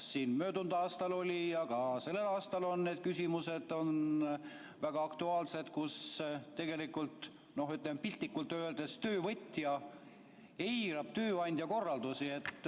Nii oli möödunud aastal, ja ka sellel aastal on see küsimus väga aktuaalne, sest tegelikult piltlikult öeldes töövõtja eirab tööandja korraldusi.